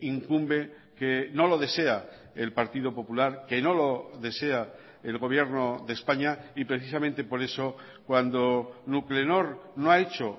incumbe que no lo desea el partido popular que no lo desea el gobierno de españa y precisamente por eso cuando nuclenor no ha hecho